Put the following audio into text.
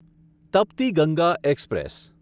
Tapti Ganga express